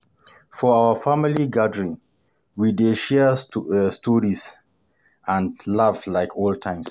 For our family gathering, we dey share stories and laugh like old times.